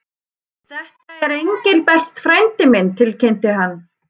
Þetta er Engilbert frændi minn tilkynnti hann.